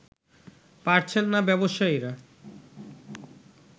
পারছেন না ব্যবসায়ীরা